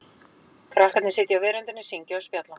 Krakkarnir sitja á veröndinni, syngja og spjalla.